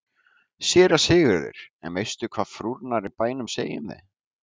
SÉRA SIGURÐUR: En veistu hvað frúrnar í bænum segja um þig?